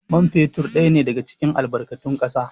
Man fetur ɗaya ne daga cikin albarkatun ƙasa